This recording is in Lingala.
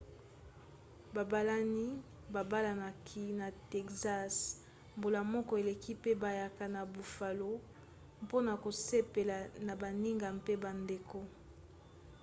babalani babalanaki na texas mbula moko eleki pe bayaki na buffalo mpona kosepela na baninga mpe bandeko